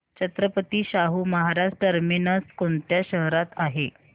Chhatrapati Shahu Maharaj terminus कोणत्या शहरात आहे